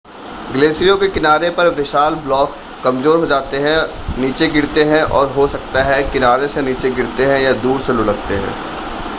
ग्लेशियरों के किनारे पर विशाल ब्लॉक कमज़ोर हो जाते हैं नीचे गिरते हैं और हो सकता है किनारे से नीचे गिरते हैं या दूर से लुढ़कते हैं